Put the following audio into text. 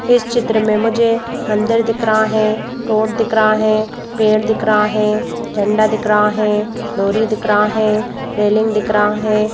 इस चित्र मे मुझे मंदिर दिख रहा है रोड दिख रहा है पेड़ दिख रहा है झंडा दिख रहा है लॉरी दिख रहा है रेलिंग दिख रहा है।